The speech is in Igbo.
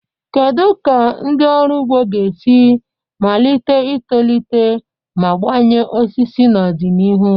Kedu ka ndị ọrụ ugbo ga-esi malite itolite ma gbanye osisi n'ọdịnihu?